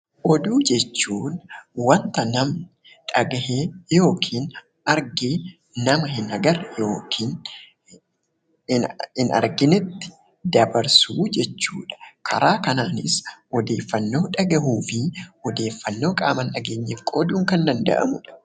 Oduu jechuun wanta namni dhagahe yookiin arge ,nama hin agarre (hin arginetti) dabarsu jechuu dha. Karaa kanaanis odeeffannoo dhaga'uu fi odeeffannoo qaama hin dhageenyeef qooduun kan danda'amu dha.